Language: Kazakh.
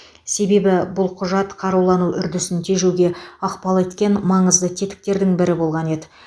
себебі бұл құжат қарулану үрдісін тежеуге ықпал еткен маңызды тетіктердің бірі болған еді